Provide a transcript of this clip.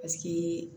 Paseke